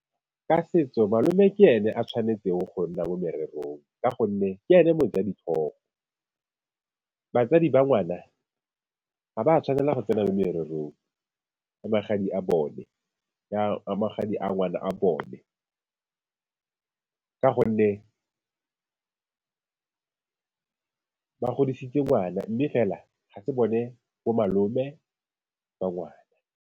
Ka setso malome ke ene a tshwanetseng go nna mo morerong, ka gonne ke ene moja-ditlhogo. Batsadi ba ngwana ga ba tshwanela go tsena mo mererong ya magadi a bone, ya magadi a ngwana wa bone. Ka gonne ba godisitse ngwana mme fela ga se bone bomalome ba ngwana.